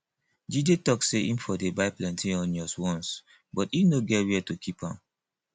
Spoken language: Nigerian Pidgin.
jide talk say im for dey buy plenty onions once but e no get where to keep am